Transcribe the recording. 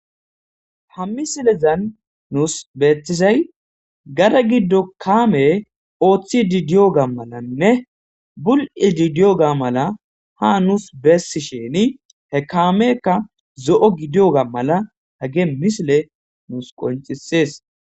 Ha misilezan nuus beettizay gara giddo kaame ooththi didiyo ga malanne bul7i didiyo ga mala ha nuus bessi sheni he kamekka zo7o gidiyo ga mala he ge misile nuus qoncisees.